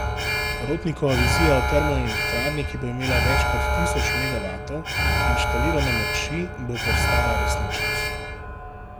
Rotnikova vizija o termoelektrarni, ki bo imela več kot tisoč megavatov inštalirane moči, bo postala resničnost.